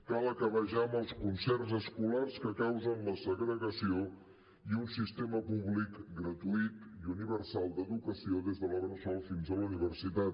cal acabar ja amb els concerts escolars que causen la segregació i un sistema públic gratuït i universal d’educació des de la bressol fins a la universitat